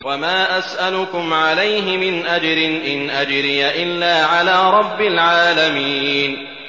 وَمَا أَسْأَلُكُمْ عَلَيْهِ مِنْ أَجْرٍ ۖ إِنْ أَجْرِيَ إِلَّا عَلَىٰ رَبِّ الْعَالَمِينَ